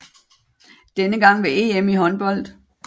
Denne gang ved EM i håndbold